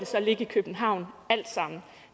ligge i københavn alt sammen